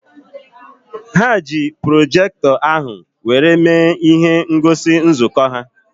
Ha ji projektọ ahụ were mee ihe ngosi nzukọ ha